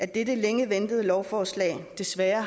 dette længe ventede lovforslag desværre